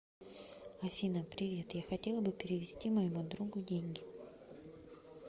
афина привет я хотела бы перевести моему другу деньги